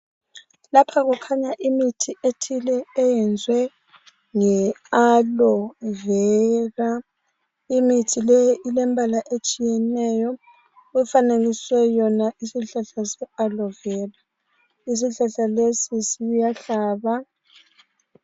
Lapha kukhanya imithi ethile eyenziwe nge alovera. Imithi leyi ilembala etshiyeneyo. Kufanekiswe yona isihlahla se alovera. Isihlahla lesi siyahlaba.